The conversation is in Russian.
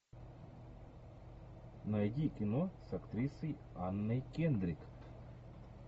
найди кино с актрисой анной кендрик